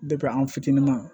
an fitininama